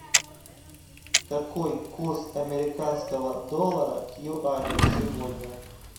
какой курс американского доллара к юаню сегодня